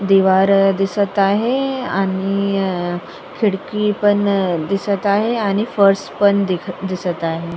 दीवार दिसत आहे आणि खिडकी पाण दिसत आहे आणि फार्स पण दिखत दिसत आहे.